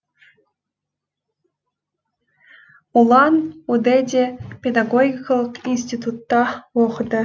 улан удэде педагогикалық институтта оқыды